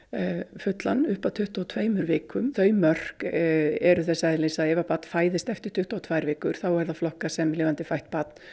fullan upp að tuttugu og tveimur vikum þau mörk eru þess eðlis að ef að barn fæðist eftir tuttugu og tvær vikur þá er það flokkað sem lifandi fætt barn